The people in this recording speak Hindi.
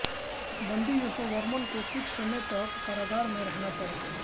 बंदी यशोवर्मन् को कुछ समय तक कारागार में रहना पड़ा